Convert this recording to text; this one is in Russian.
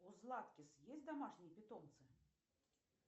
у златкис есть домашние питомцы